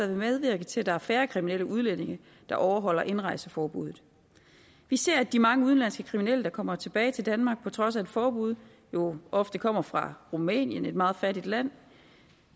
vil medvirke til at der er færre kriminelle udlændinge der overholder indrejseforbuddet vi ser at de mange udenlandske kriminelle der kommer tilbage til danmark på trods af et forbud jo ofte kommer fra rumænien der er et meget fattigt land